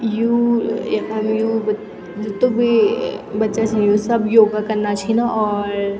यु यखम यु ब जीतू भी बच्चा छी यु सब योगा कना छिन और --